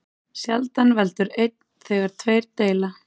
Sjaldan veldur einn þegar tveir deila.